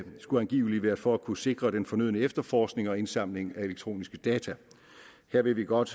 skulle angiveligt være for at kunne sikre den fornødne efterforskning og indsamling af elektroniske data her vil vi godt